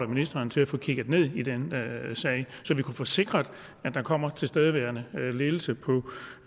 ministeren til at få kigget ned i den sag så vi kan få sikret at der kommer en tilstedeværende ledelse